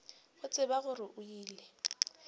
go tseba gore o ile